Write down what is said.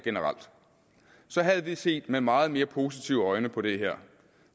så havde vi set med meget mere positive øjne på det her